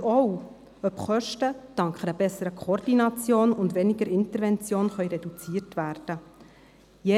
Es wird auch interessieren, ob Kosten dank einer besseren Koordination und dank weniger Intervention reduziert werden können.